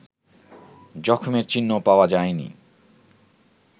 জখমের চিহ্নও পাওয়া যায়নি